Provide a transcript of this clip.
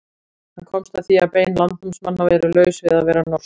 Hann komst að því að bein landnámsmanna eru laus við að vera norsk.